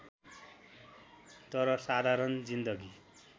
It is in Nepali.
तर साधारण जिन्दगी